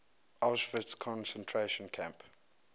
auschwitz concentration camp